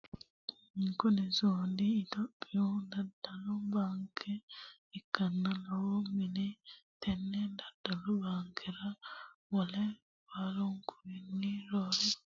Kuni sumudi itiyophiyu daddalu baankeha ikkanna lowo manni tenne dadallu baankera wole baankuwanni roore woxe wodhanote yaate tini baankeno lowo manna afidhinote